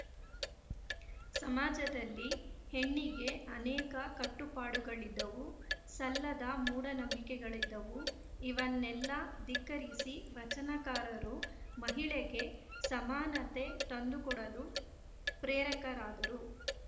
ಸಮಾಜದಲ್ಲಿ ಹೆಣ್ಣಿಗೆ ಅನೇಕ ಕಟ್ಟುಪಾಡುಗಳಿದ್ದವು ಸಲ್ಲದ ಮೂಢನಂಬಿಕೆಗಳಿದ್ದವು ಇವನ್ನೆಲ್ಲ ಧಿಕ್ಕರಿಸಿ ವಚನಕಾರರು ಮಹಿಳೆಗೆ ಸಮಾನತೆ ತಂದುಕೊಡಲು ಪ್ರೇರಕರಾದರು